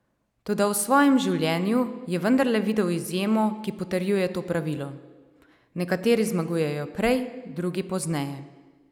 Toda v svojem življenju je vendarle videl izjemo, ki potrjuje to pravilo: "Nekateri zmagujejo prej, drugi pozneje.